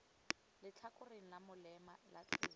letlhakoreng la molema la tsela